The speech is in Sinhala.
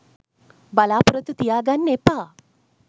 බලාපොරොත්තු තියාගන්න එපා.